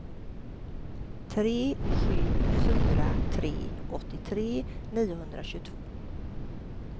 tre sju fyra tre åttiotre niohundratjugotvå